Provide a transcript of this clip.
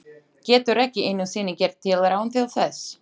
Getur ekki einu sinni gert tilraun til þess.